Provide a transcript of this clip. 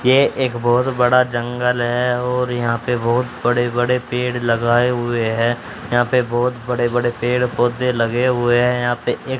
ये एक बहोत बड़ा जंगल है और यहां पे बहुत बड़े बड़े पेड़ लगाए हुए हैं यहां पे बहुत बड़े बड़े पेड़ पौधे लगे हुए हैं यहां पे एक--